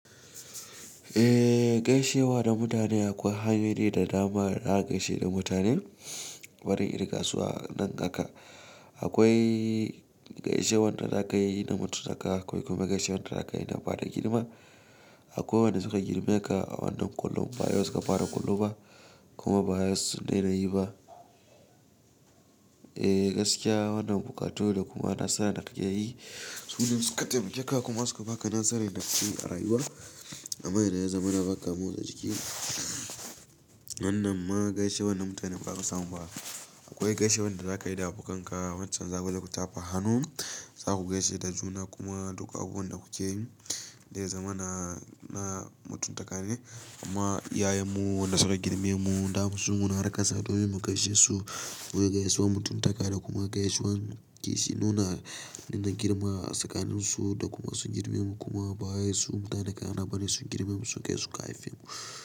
Eh gaishewa da mutane akwai hanyoyi da dama da zaka gaishe da mutane barin irin gaisuwa nan haka. Akwai gaishewar da za ka yi da mutuntaka, akwai kuma gaishewar da za ka yi da ba da girma. Akwai wanda suka girme ka a wannan kollon, ba yau suka fara kollo ba, kuma ba yau sun dai nayi ba. Eh gaskiya wannan buƙatu da kuma nasara da kake yi, sune suka taimake ka kuma suka baka nasarar da ka ci a rayuwa. Amma idan yazamana baka motsa jiki. Wannan ma gaishewar na mutane ba zaka samu ba. Akwai gaishewar da za ka yi da abokan ka waccan zakuzo ku ta fa hannu. Za ku gaishe da juna kuma duk abubuwan da kuke yi, dai zamana na mutuntaka ne. Amma iyayen mu da suka girme mu, da mu tsuguna har ƙasa domin mu gaishe su. Akwai gaisuwar mutuntaka da kuma gaisuwar kishi, nuna dinnan girma a tsakanin su da kuma sun girme mu kuma ba wai su mutane kanana bane sun girme mu sun kai su ka haife mu.